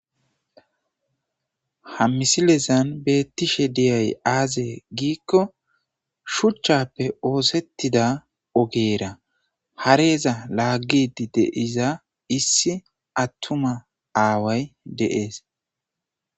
ha misilezan beettishe diyay aaze giikko shuchchappe oosettida ogeera hareeza laaggidi de'iza issi attuma aaway de'ees